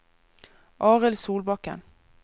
Arild Solbakken